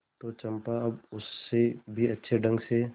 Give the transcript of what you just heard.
तो चंपा अब उससे भी अच्छे ढंग से